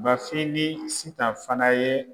Bafin ni Sitan fana ye